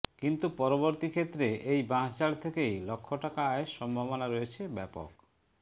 কিন্তু পরবর্তী ক্ষেত্রে এই বাঁশঝাড় থেকেই লক্ষ টাকা আয়ের সম্ভাবনা রয়েছে ব্যাপক